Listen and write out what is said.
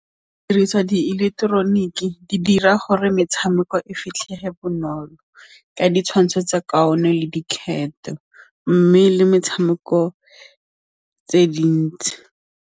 Diriswa diileketeroniki di dira gore metshameko e fitlhelege bonolo ka ditshwantsho tsa kaone le dikgetho mme le metshameko tse dintsi.